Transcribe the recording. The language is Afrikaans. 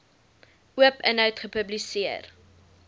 oop inhoud gepubliseer